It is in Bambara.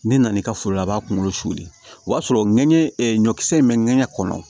Ne nan'i ka foro la a b'a kunkolo suli o y'a sɔrɔ ŋɛɲɛ ɲɔkisɛ in bɛ ŋɛɲɛ kɔnɔ